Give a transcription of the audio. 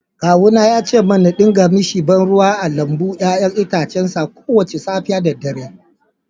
Kawuna ya ce min na dinga mishi ba ruwa a lambun 'ya'yan itacen sa kowace safiya da dare